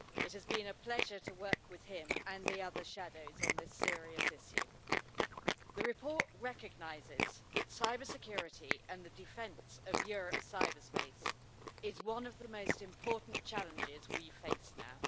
It has been a pleasure to work with him and the other shadows on this serious issue. The report recognises that cybersecurity and the defence of Europe's cyberspace is one of the most important challenges that we face now.